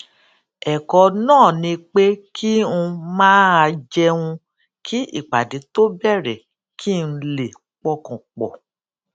èkó náà ni pé kí n máa jẹun kí ìpàdé tó bèrè kí n lè pọkàn pò